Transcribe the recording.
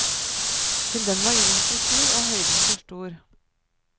Til det var jorden for sur og høyden for stor.